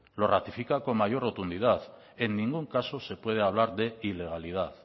lo ratifica con mayor rotundidad en ningún caso se puede hablar de ilegalidad